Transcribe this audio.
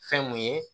Fɛn mun ye